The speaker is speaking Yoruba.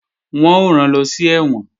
Wọ́n ó rán lọ sí ẹ̀wọ̀n